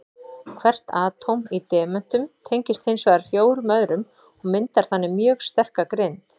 Hvert atóm í demöntum tengist hins vegar fjórum öðrum og myndar þannig mjög sterka grind.